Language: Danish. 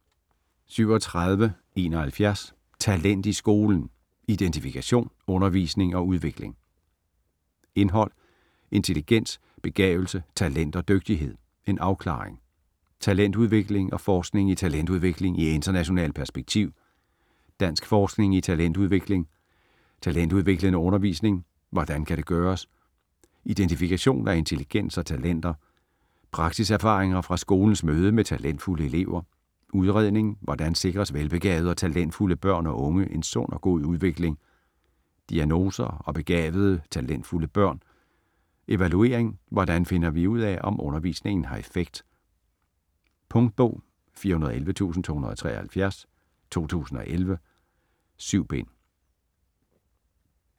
37.71 Talent i skolen: identifikation, undervisning og udvikling Indhold: Intelligens, begavelse, talent og dygtighed - en afklaring ; Talentudvikling og forskning i talentudvikling i internationalt perspektiv ; Dansk forskning i talentudvikling ; Talentudviklende undervisning - hvordan kan det gøres? ; Identifikation af intelligens og talenter ; Praksiserfaringer fra skolens møde med talentfulde elever ; Udredning - hvordan sikres velbegavede og talentfulde børn og unge en sund og god udvikling? ; Diagnoser og begavede, talentfulde børn ; Evaluering - hvordan finder vi ud af, om undervisningen har effekt? Punktbog 411273 2011. 7 bind.